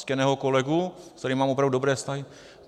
Ctěného kolegu, se kterým mám opravdu dobré vztahy?